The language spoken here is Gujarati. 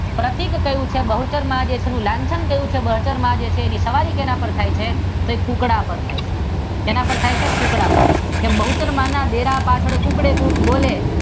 પ્રતિક ક્યૂ છે? બહુચર માનું લાંચન ક્યૂ છે? બહુચર માં છે જેની સવારી શેના પર થાય છે? સાહેબ કૂકડાં પર થાય છે. બહુચર માં ના ડેલા પાછળ કૂકડે કૂક બોલે.